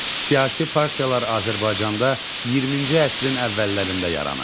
Siyasi partiyalar Azərbaycanda 20-ci əsrin əvvəllərində yaranıb.